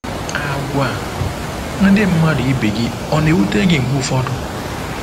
Àgwà ndị mmadụ ibe gị ọ̀ na-ewute gị mgbe ụfọdụ?